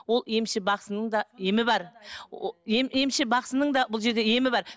ол емші бақсының да емі бар емші бақсының да бұл жерде емі бар